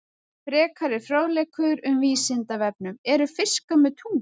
Frekari fróðleikur um Vísindavefnum: Eru fiskar með tungu?